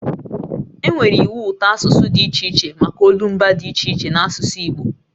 E nwere iwu ụtọasụsụ dị iche iche maka olumba dị iche iche n'asụsụ Igbo